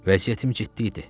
Vəsiyyətim ciddi idi.